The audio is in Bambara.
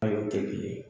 tɛ kelen ye